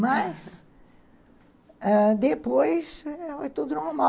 Mas, ãh, depois, foi tudo normal.